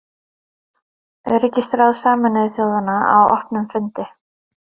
Öryggisráð Sameinuðu þjóðanna á opnum fundi.